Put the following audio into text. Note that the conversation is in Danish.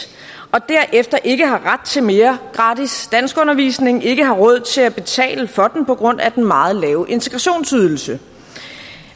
og derefter ikke har ret til mere gratis danskundervisning og ikke har råd til at betale for den på grund af den meget lave integrationsydelse